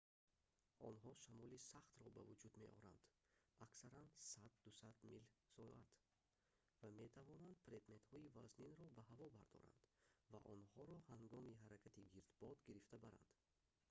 онҳо шамоли сахтро ба вуҷуд меоранд аксаран 100-200 мил/соат ва метавонанд предметҳои вазнинро ба ҳаво бардоранд ва онҳоро ҳангоми ҳаракати гирдбод гирифта баранд